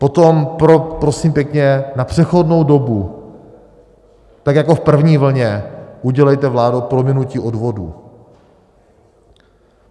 Potom, prosím pěkně, na přechodnou dobu, tak jako v první vlně, udělejte, vládo, prominutí odvodů.